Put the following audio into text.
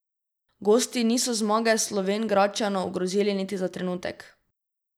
Gosti niso zmage Slovenjgradčanov ogrozili niti za trenutek.